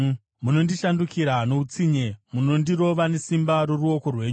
Munondishandukira noutsinye; munondirova nesimba roruoko rwenyu.